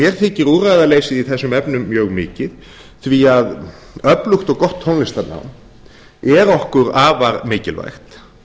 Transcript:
mér þykir úrræðaleysið í þessum efnum mjög mikið því að öflugt og gott tónlistarnám er okkur afar mikilvægt